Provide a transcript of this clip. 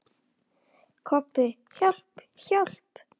Kobbi, hjálp, hjálp.